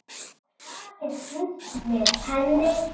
og farið burt með henni.